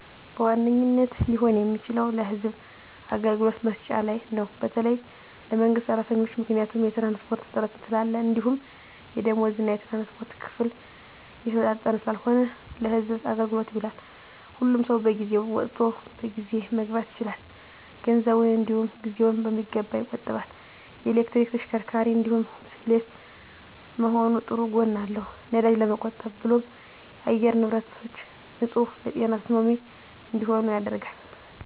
በዋነኝነት ሊሆን የሚችለው ለህዝብ አገልግሎት መስጫ ነው በተለይ ለመንግስት ሰራተኞች። ምክንያቱም የትራንስፖርት እጥረት ስላለ እንዲሁም የደምወዝ እና የትራንስፖርት ክፍያ የተመጣጠነ ስላልሆነ ለህዝብ አገልግሎት ይውላል። ሁሉም ሰው በጊዜ ወጥቶ በጊዜ መግባት ይችላል፣ ገንዘቡን እንዲውም ጊዜውን በሚገባ ይቆጥባል። የኤሌክትሪክ ተሽከርካሪ እንዲሁም ብስክሌት መሆኑ ጥሩ ጎን አለው ነዳጅ ለመቆብ ብሎም የአየር ንብረቶች ንፁህ ለጤና ተስማሚ እንዲሆኑ ያደርጋል።